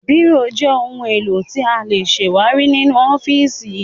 Bírò jẹ́ ohun-èlò tí a lè ṣàwárí nínú ọ́fíísì.